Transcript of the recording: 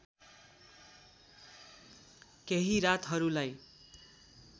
केही रातहरूलाई